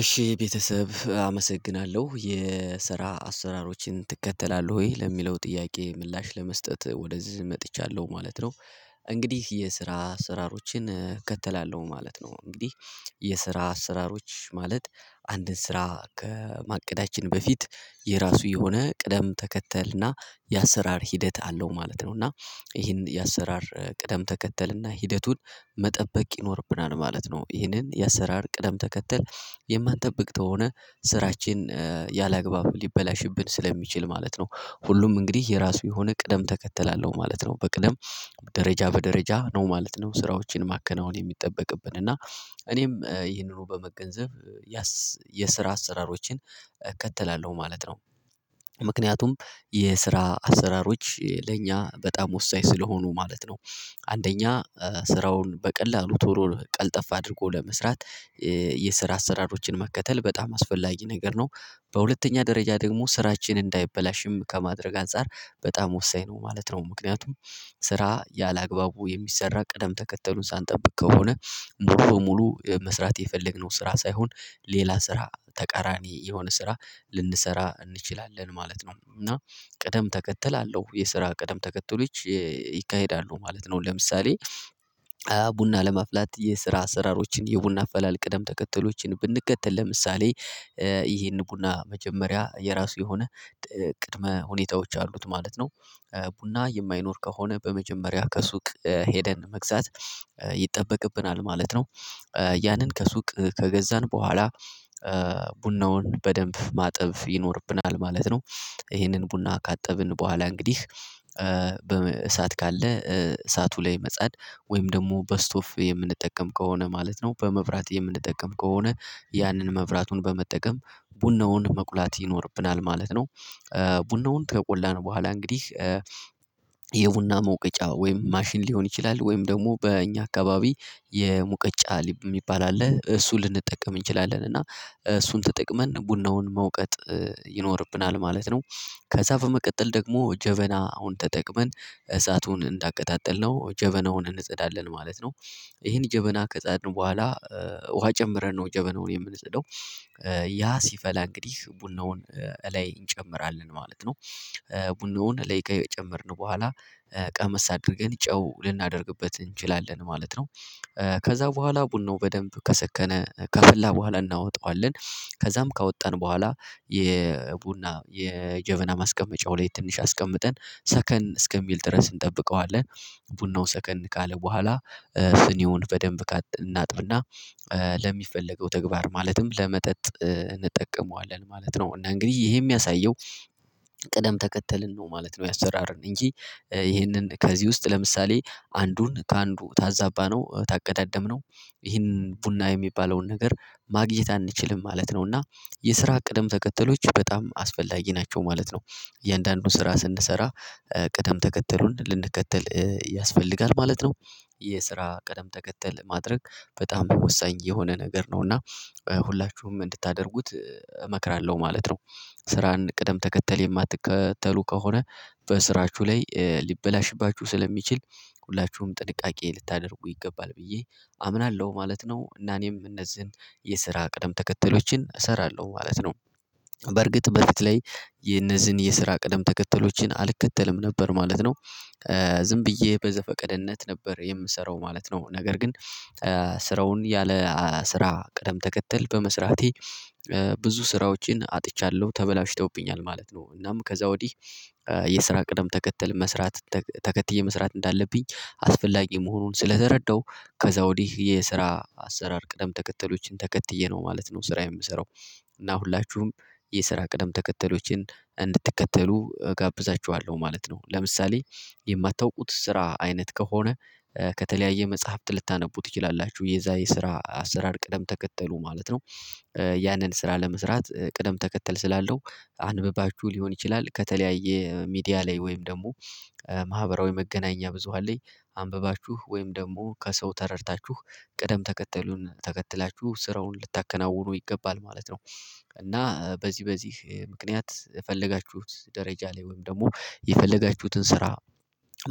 እሺ ቤተሰብ አመሰግናለሁ የስራ አሰራሮችን ትከተላለህ ወይ ለሚለው ጥያቄ ምላሽ ለመስጠት ወደዚህ መጥቻለሁ ማለት ነው። እንግዲህ የስራ አስራሮችን እከተላለው ማለት ነው። እንግዲህ የስራ አሰራሮች ማለት አንድን ስራ ከማቀዳችን በፊት የራሱ የሆነ ቅደም ተከተል እና የአሰራር ሂደት አለው ማለት ነው። እና ይሄን የአሰራር ቅደም ተከተል እና ሂደቱን መጠበቅ ይኖርብናል ማለት ነው። ይህንን የአሰራር ቅደም ተከተል የማንጠብቅተው ሆነ ስራችን ያላግባብ ሊበላሽብን ስለሚችል ማለት ነው። ሁሉም እንግዲህ የራሱ የሆነ ቅደም ተከተል አለው ማለት ነው። በቅደም ደረጃ በደረጃ ነው ማለት ነው። ስራዎችን ማከናወን የሚጠበቅብን እና እኔም ይህንኑ በመገንዘብ የስራ አሰራሮችን እከተላለሁ ማለት ነው። ምክንያቱም የስራ አሰራሮች ለእኛ በጣም ወሳኝ ስለሆኑ ማለት ነው። አንደኛ ስራውን በቀላሉ ቶሎ ቀልጠፍ አድርጎ ለመስራት የስራ አሰራሮችን መከተል በጣም አስፈላጊ ነገር ነው። በሁለተኛ ደረጃ ደግሞ ስራችን እንዳይበላሽም ከማድረግ አንፃር በጣም ወሳኝ ነው ማለት ነው። ምክንያቱም ስራ ያላግባቡ የሚሰራ ቅደም ተከተሉን ሳንጠብቅ ከሆነ ሙሉ በሙሉ መስራት የፈለግነው ስራ ሳይሆን ሌላ ስራ ተቃራኒ የሆነ ስራ ልንሰራ እንችላለን ማለት ነው። እና ቀደም ተከተል አለው የስራ ቀደም ተከተሎች ይካሄዳሉ ማለት ነው። ለምሳሌ ቡና ለማፍላት የስራ አሰራሮችን የቡና አፈላል ቅደም ተከተሎችን ብንከተል ለምሳሌ ይሄን ቡና መጀመሪያ የራሱ የሆነ ቅድመ ሁኔታዎች አሉት ማለት ነው። ቡና የማይኖር ከሆነ በመጀመሪያ ከሱቅ ሄደን መግዛት ይጠበቅብናል ማለት ነው። ያንን ከሱቅ ከገዛን በኋላ ቡናውን በደንብ ማጠብ ይኖርብናል ማለት ነው። ይሄንን ቡና ካጠብን በኋላ እንግዲህ በእሳት ካለ እሳቱ ላይ መጻድ ወይም ደግሞ በስቶፍ የምንጠቀም ከሆነ ማለት ነው በመብራት የምንጠቀም ከሆነ ያንን መብራቱን በመጠቀም ቡናውን መቁላት ይኖርብናል ማለት ነው። ቡናውን ከቆላን በኋላ እንግዲህ የቡና መውቀጫ ወይም ማሽን ሊሆን ይችላል ወይም ደግሞ በእኛ አካባቢ የሙቀጫ ሊባል አለ እሱን ልንጠቀም እንችላለን እና እሱን ተጠቅመን ቡናውን መውቀጥ ይኖርብናል ማለት ነው። ከዛ በመቀጠል ደግሞ ጀበና አሁን ተጠቅመን እሳቱን እንዳቀጣጠልነው ጀበናውን እንጸዳለን ማለት ነው። ይሄን ጀበና ከፃድን ነው በኋላ ውሃ ጨምረን ነው ጀበናውን የምንፅደው ያ ሲፈላ እንግዲህ ቡናውን እላይ እንጨምራለን ማለት ነው። ቡናውን እለይ ከጨመርን በኋላ ቀመስ አድርገን ጨው ልናደርግበት እንችላለን ማለት ነው። ከዛ በኋላ ቡናው በደንብ ከሰከነ ከፍላ በኋላ እናወጣዋለን ከዛም ካወጣን በኋላ የቡና የጀበና ማስቀመጫው ላይ ትንሽ አስቀምጠን ሰከን እስከሚል ድረስ እንጠብቀዋለን ቡናው ሰከን ካለ በኋላ ስኒውን በደንብ እናጥብና ለሚፈለገው ተግባር ማለትም ለመጠጥ እንጠቀመዋለን ማለት ነው። እና እንግዲህ ይሄ የሚያሳየው ቀደም ተከተልን ነው ማለት ነው። ያሰራርን እንጂ ይህንን ከዚህ ውስጥ ለምሳሌ አንዱን ከአንዱ ታዛባ ነው ታቀዳደምነው ይህንን ቡና የሚባለውን ነገር ማግኘት አንችልም ማለት ነው። እና የስራ ቅደም ተከተሎች በጣም አስፈላጊ ናቸው ማለት ነው። እያንዳንዱን ስራ ስንሰራ ቅደም ተከተሉን ልንከተል ያስፈልጋል ማለት ነው። የስራ ቅደም ተከተል ማድረግ በጣም ወሳኝ የሆነ ነገር ነው እና ሁላችሁም እንድታደርጉት እመክራለሁ ማለት ነው። ስራን ቅደም ተከተል የማትከተሉ ከሆነ በስራችሁ ላይ ሊበላሽባችሁ ስለሚችል ሁላችሁም ጥንቃቄ ልታደርጉ ይገባል ብዬ አምናለሁ ማለት ነው። እና እኔም እነዚህን የስራ ቅደም ተከተሎችን እሰራለሁ ማለት ነው። በርግጥ በፍት ላይ የነዚህን የስራ ቅደም ተከተሎችን አልከተልም ነበር ማለት ነው። ዝም ብዬ በዘፈቀድነት ነበር የምሰራው ማለት ነው። ነገር ግን ስራውን ያለ ስራ ቅደም ተከተል በመስራቴ ብዙ ስራዎችን አጥቻለሁ ተበላሽተውብኛል ማለት ነው። እናም ከዛ ወዲህ የስራ ቅደም ተከትል መስራት ተከትዬ መስራት እንዳለብኝ አስፈላጊ መሆኑን ስለተረዳሁ ከዛ ወዲህ የስራ አሰራር ቅደም ተከተሎችን ተከትዬ ነው ማለት ነው። ስራዬን የምሰራው እና ሁላችሁም የስራ ቅደም ተከተሎችን እንድትከተሉ እጋብዛችኋለሁ ማለት ነው። ለምሳሌ የማታውቁት ስራ አይነት ከሆነ ከተለያየ መጽሐፍት ልታነቡ ትችላላችሁ የዛ የስራ አሰራር ቅደም ተከተሉ ማለት ነው። ያንን ስራ ለመስራት ቅደም ተከተል ስላለው አንብባችሁ ሊሆን ይችላል ከተለያየ ሚዲያ ላይ ወይም ደግሞ ማህበራዊ መገናኛ ብዙሃን ላይ አንብባችሁ ወይም ደግሞ ከሰው ተረድታችሁ ቅደም ተከተሉን ተከትላችሁ ስራውን ልታከናውኑ ይገባል ማለት ነው። እና በዚህ በዚህ ምክንያት የፈለጋችሁት ደረጃ ላይ ወይም ደግሞ የፈለጋችሁትን ስራ